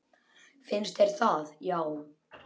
Finnst þér það já.